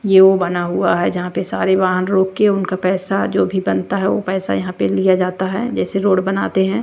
ये वो बना हुआ है जहाँ पे सारे वाहन रोक के उनका पैसा जो भी बनता है ओ पैसा यहाँ पे लिया जाता है जैसे रोड बनाते है।